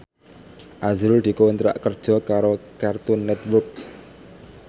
azrul dikontrak kerja karo Cartoon Network